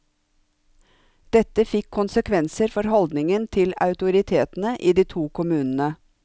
Dette fikk konsekvenser for holdningen til autoritetene i de to kommunene.